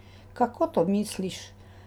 Kako to misliš?